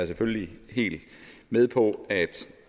selvfølgelig helt med på